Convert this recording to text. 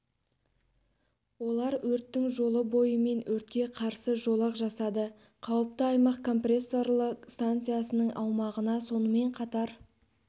олар өрттің жолы бойымен өртке қарсы жолақ жасады қауіпті аймақ компрессорлы станциясының аумағына сонымен қатар